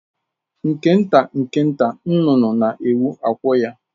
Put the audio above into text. Nke nta nke nta, nnụnụ na-ewu akwụ ya.